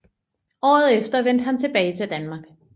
Året efter vendte han tilbage til Danmark